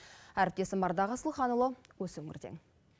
әріптесім ардақ асылханұлы осы өңірден